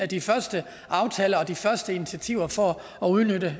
de første aftaler og de første initiativer for at udnytte